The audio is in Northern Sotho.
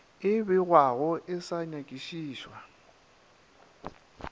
e begwago e sa nyakišišwa